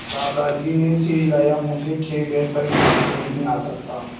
दादाजी ने सिर हिलाया मुझे खेद है पर मैं नीचे नहीं आ सकता